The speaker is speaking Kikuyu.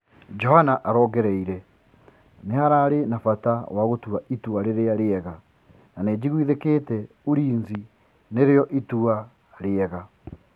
Johana arongereie: Nĩ hararĩ na bata wa gũtua itua rĩ rĩ a rĩ ega na nĩ njigwithĩ kĩ te Ulinzi nĩ rĩ o itua rĩ ega.